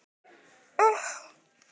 Hver er helsta fæða snáka?